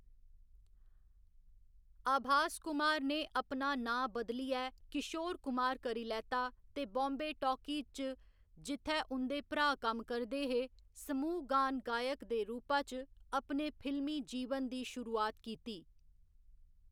आभास कुमार ने अपना नांऽ बदलियै किशोर कुमार करी लैता ते बाम्बे टाकीज च, जित्थै उं'दे भ्राऽ कम्म करदे हे, समूह गान गायक दे रूपा च अपने फिल्मी जीवन दी शुरुआत कीती।